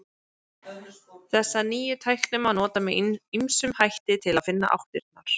Þessa nýju tækni má nota með ýmsum hætti til að finna áttirnar.